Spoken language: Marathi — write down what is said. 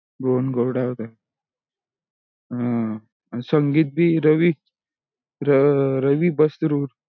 अं भुवन गोरडा हे ते हा संगीत भी रवी रवी बसरूड